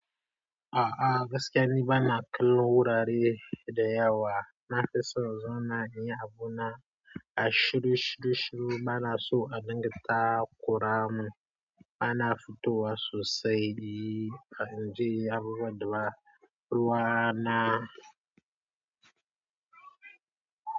A'a gaskiya ni bana kallon wurare da yawa. Nafison zona iya abu na a shiru shiru shiru bana so a dingita kuramu. Bana fitowa sosai, inje inyi abubuwanda ruwa na.